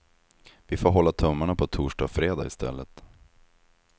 Vi får hålla tummarna på torsdag och fredag i stället.